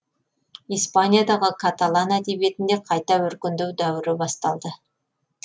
испаниядағы каталан әдебиетінде қайта өркендеу дәуірі басталды